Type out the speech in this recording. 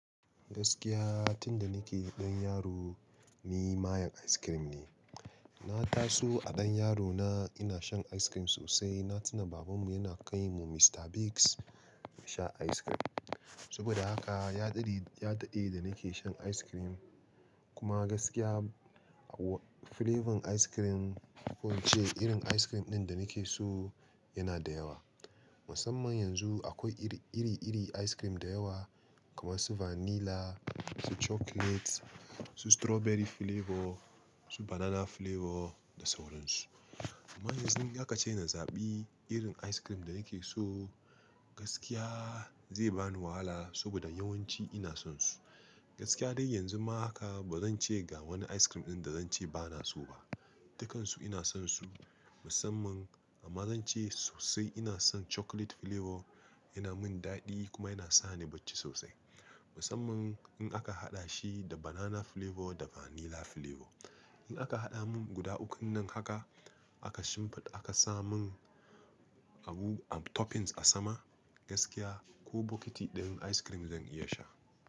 Gaskiya tunda nake ɗan yaro ni mayen ice cream ne. Na taso a ɗan yaro na ina shan ice cream sosai, na tuna babanmu yana kai mu Mister Biggs mu sha ice cream. Saboda haka ya daɗe, ya daɗe da nake shan ice cream kuma gaskiya flavor ice cream ko ce irin ice cream ɗin da nake so yana da yawa. Musamman yanzu akwai iri, iri-iri ice cream da yawa kamar su vanilla, su chocolate, su strawberry flavor, su banana flavor da sauran su. Amma yanzu haka ce ina zaɓi irin ice cream da nake so gaskiya zai bani wahala saboda yawanci ina son su. Gaskiya dai yanzu ma haka ba zan ce ga wani ice cream ɗin da zan ce bana so ba. Dukansu ina son su musamman amma zan ce sosai ina son chocolate flavor yana min daɗi kuma yana sa ni bacci sosai. Musamman in aka haɗa shi da banana flavor da vanilla flavor. In aka haɗa mun guda ukun nan haka aka shimfiɗa aka sa mun abu toppings a sama gaskiya ko bokiti ɗayan ice cream zan iya sha.